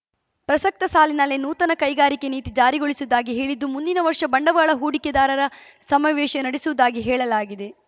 ಪ್ರಸಕ್ತ ಸಾಲಿನಲ್ಲೇ ನೂತನ ಕೈಗಾರಿಕೆ ನೀತಿ ಜಾರಿಗೊಳಿಸುವುದಾಗಿ ಹೇಳಿದ್ದು ಮುಂದಿನ ವರ್ಷ ಬಂಡವಾಳ ಹೂಡಿಕೆದಾರರ ಸಮಾವೇಶ ನಡೆಸುವುದಾಗಿ ಹೇಳಲಾಗಿದೆ